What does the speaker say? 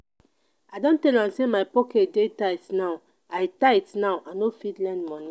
i don tell am sey my pocket dey tight now i tight now i no fit lend moni.